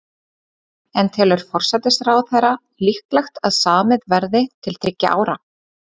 En telur forsætisráðherra líklegt að samið verði til þriggja ára?